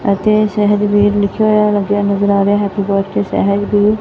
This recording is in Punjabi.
ਅਤੇ ਸਾਹਿਜਬੀਰ ਲਿਖਿਆ ਹੋਯਾ ਨਜ਼ਰ ਆ ਰਿਹਾ ਹੈ ਹੈਪੀ ਬਰਥਡੇ ਸਹਿਜ ਬੀਰ।